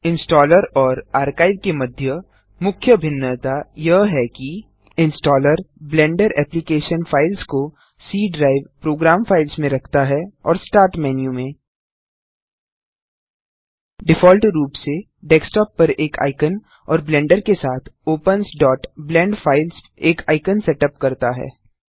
installer और archive के मध्य मुख्य भिन्नता यह है कि इंस्टॉलर ब्लेंडर एप्लिकेशन फाइल्स को सी ड्राइव प्रोग्राम फाइल्स में रखता है और स्टार्ट मेन्यू में डिफॉल्ट रूप से डेस्कटॉप पर एक आइकन और ब्लेंडर के साथ ओपन्स blend फाइल्स एक आइकन सेटअप करता है